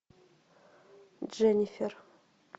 дженнифер